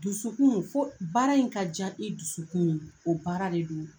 Dusukun fo baara in ka diya i dusukun ye, o baara de don.